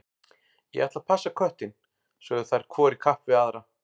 Ég ætla að passa köttinn, sögðu þær hvor í kapp við aðra.